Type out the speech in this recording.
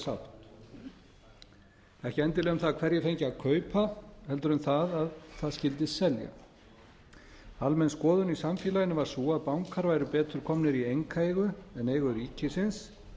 sátt ekki endilega um það hverjir fengju að kaupa heldur um það að það skyldi selja almenn skoðun í samfélaginu var sú að bankar væru betur komnir í einkaeigu en eigu ríkisins